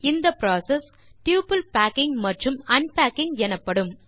இந்த process double packing மற்றும் unpacking எனப்படும்